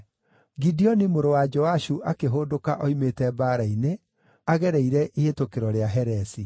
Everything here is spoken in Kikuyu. Gideoni mũrũ wa Joashu akĩhũndũka oimĩte mbaara-inĩ, agereire Ihĩtũkĩro rĩa Heresi.